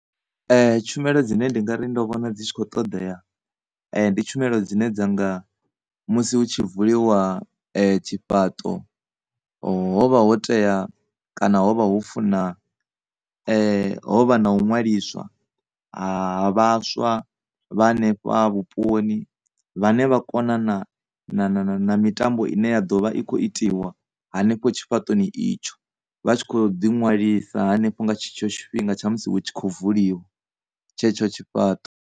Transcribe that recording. Tshumelo dzine nda ngari ndo vhona dzi tshi khou ṱoḓea ndi tshumelo dzine dzanga musi hu tshi vuliwa tshifhaṱo ho vha ho tea kana ho vha ho funa hovha na u ṅwaliswa ha vhaswa vha hanefha vhuponi vhane vha kona na mitambo ine ya ḓovha i kho itiwa hanefha tshifhaṱoni itsho vha tshi kho ḓi nwalisa hanefho nga tshetsho tshifhinga tsha musi hu tshi kho vuliwa tshetsho tshifhaṱo.